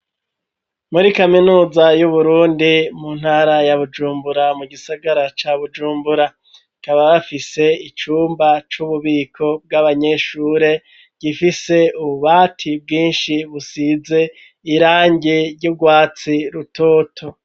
Muri kaminuza y'Uburundi, mu ntara ya Bujumbura mu gisagara ca Bujumbura; bakaba bafise icumba c'ububiko bw'abanyeshure, gifise ububati bwinshi busize irangi ry'urwatsi rutoto.